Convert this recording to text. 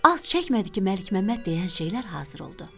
Az çəkmədi ki, Məlikməmməd deyən şeylər hazır oldu.